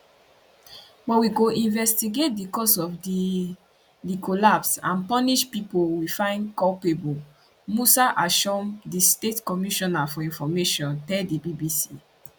but we go investigate di cause of di di collapse and punish pipo we find culpable musa ashom di state commissioner for information tell di bbc